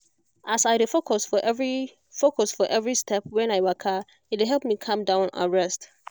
as i dey focus for every focus for every step when i waka e dey help me calm down and rest